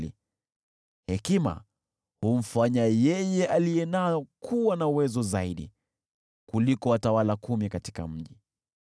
Hekima humfanya yeye aliye nayo kuwa na uwezo zaidi kuliko watawala kumi katika mji.